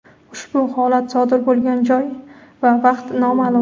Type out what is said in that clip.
Ushbu holat sodir bo‘lgan joy va vaqt nomaʼlum.